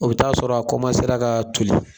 O bi taa sɔrɔ a ka toli